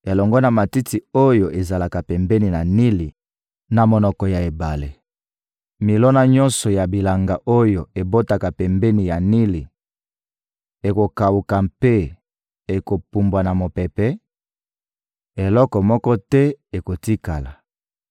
elongo na matiti oyo ezalaka pembeni ya Nili, na monoko ya ebale. Milona nyonso ya bilanga oyo ebotaka pembeni ya Nili ekokawuka mpe ekopumbwa na mopepe, eloko moko te ekotikala.